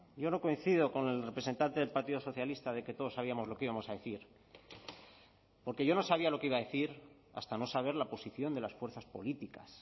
yo no coincido con el representante del partido socialista de que todos sabíamos lo que íbamos a decir porque yo no sabía lo que iba a decir hasta no saber la posición de las fuerzas políticas